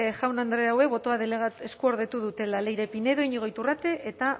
jaun andreek hauek botoa eskuordetu dutela leire pinedo iñigo iturrate eta